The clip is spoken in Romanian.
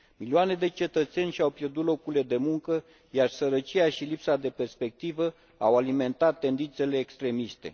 Milioane de cetățeni și au pierdut locurile de muncă, iar sărăcia și lipsa de perspectivă au alimentat tendințele extremiste.